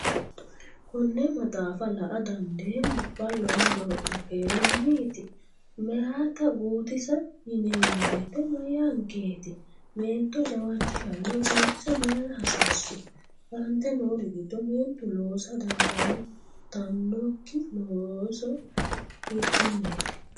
konne maxaafa la”a dandeemmo? Ballo rodoo’ya keerunniiti? Meyaata guutisa yineemmo woyite mayyaankeeti? Meento jawaachishanna guutisa mayira hasiissu? Aante noori giddo meentu loosa dandiitannokki loosi hiikkonneeti?